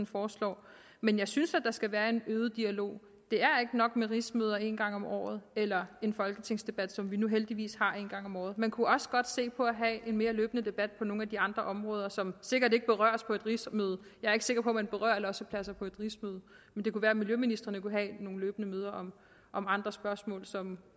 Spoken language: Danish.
foreslår men jeg synes at der skal være en øget dialog det er ikke nok med rigsmøder en gang om året eller en folketingsdebat som vi nu heldigvis har en gang om året man kunne også godt se på at have en mere løbende debat på nogle af de andre områder som sikkert ikke berøres på et rigsmøde jeg er ikke sikker på at man berører lossepladser på et rigsmøde men det kunne være miljøministeren løbende kunne have nogle møder om andre spørgsmål som